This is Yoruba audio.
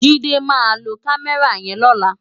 Jide má ló kàmèrá yèn lòlá